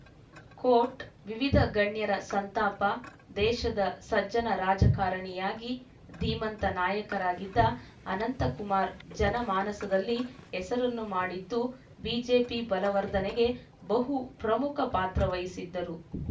coat ವಿವಿಧ ಗಣ್ಯರ ಸಂತಾಪ ದೇಶದ ಸಜ್ಜನ ರಾಜಕಾರಣಿಯಾಗಿ ಧೀಮಂತ ನಾಯಕರಾಗಿದ್ದ ಅನಂತಕುಮಾರ್‌ ಜನಮಾನಸದಲ್ಲಿ ಹೆಸರನ್ನು ಮಾಡಿದ್ದು ಬಿಜೆಪಿ ಬಲವರ್ಧನೆಗೆ ಬಹುಪ್ರಮುಖ ಪಾತ್ರವಹಿಸಿದ್ದರು